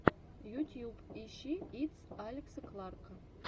ютьюб ищи итс алекса кларка